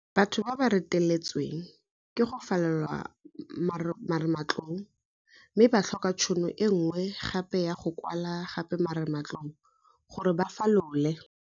Batho ba ba reteletsweng ke go falola marematlou mme ba tlhoka tšhono e nngwe gape ya go kwala gape marematlou gore ba falole.